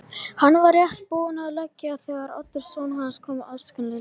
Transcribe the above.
Hann var rétt búinn að leggja á þegar Oddur sonur hans kom askvaðandi inn.